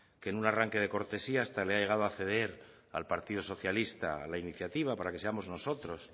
que en un arranque de cortesía hasta le ha llegado a ceder al partido socialista la iniciativa para que seamos nosotros